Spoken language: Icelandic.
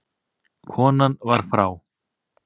Konan var frá